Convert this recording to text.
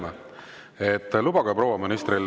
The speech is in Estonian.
Mart Helme, lubage proua ministril …